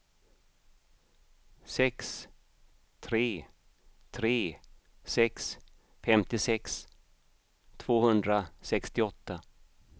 sex tre tre sex femtiosex tvåhundrasextioåtta